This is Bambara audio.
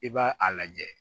I b'a a lajɛ